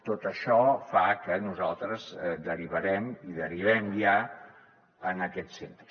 tot això fa que nosaltres derivarem i derivem ja en aquests centres